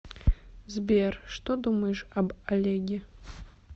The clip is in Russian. сбер что думаешь об олеге